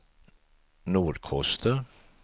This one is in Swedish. Nordkoster